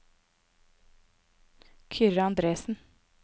Kyrre Andresen